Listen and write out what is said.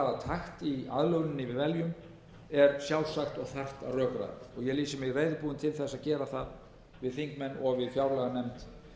takt í aðlöguninni við veljum er sjálfsagt og þarft að rökræða og ég lýsi mig reiðubúinn til þess að gera það við þingmenn og við fjárlaganefnd